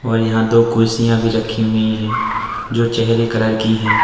और यहां दो कुर्सियां भी रखी हुई हैं जो चेहरे कलर की हैं।